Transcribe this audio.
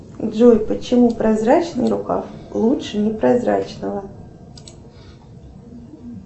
джой почему прозрачный рукав лучше непрозрачного